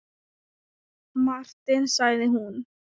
Martin sagði hún.